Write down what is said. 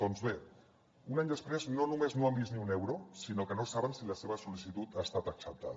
doncs bé un any després no només no han vist ni un euro sinó que no saben si la seva sol·licitud ha estat acceptada